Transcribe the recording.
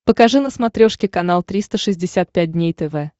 покажи на смотрешке канал триста шестьдесят пять дней тв